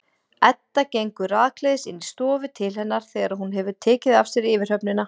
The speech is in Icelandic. Edda gengur rakleiðis inn í stofu til hennar þegar hún hefur tekið af sér yfirhöfnina.